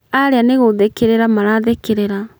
Arĩa nĩgũthekerera marathekerera.